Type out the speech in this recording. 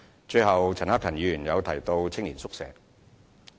最後，陳克勤議員提到青年宿舍。